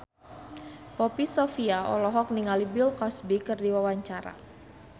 Poppy Sovia olohok ningali Bill Cosby keur diwawancara